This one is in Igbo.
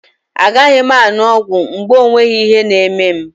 A gaghị m aṅụ ọgwụ mgbe o nweghị ihe na-eme m.